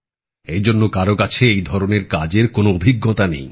এই জন্য কারও কাছে এই ধরনের কাজের কোন অভিজ্ঞতা নেই